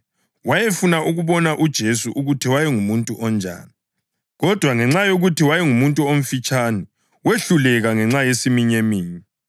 Wayefuna ukubona uJesu ukuthi wayengumuntu onjani, kodwa ngenxa yokuthi wayengumuntu omfitshane, wehluleka ngenxa yesiminyeminye.